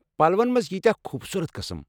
پلوَن مَنٛز ییٖتیٚاہ خوبصوٗرَت قٕسٕم!